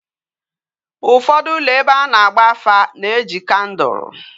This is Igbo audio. Ufodu ulo ebe ana agba afa na eji kandul